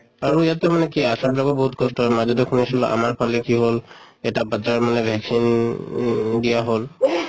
আৰু ইয়াতে মানে কি ASHA বিলাকৰো বহুত কষ্ট হয়, মাজতে শুনিছিলো আমাৰ ফালে কি হʼল এটা মানে vaccine ই দিয়া হʼল